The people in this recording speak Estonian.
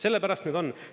Sellepärast nüüd on …